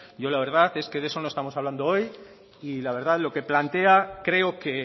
yo la verdad es que de eso no estamos hablando hoy y la verdad lo que plantea creo que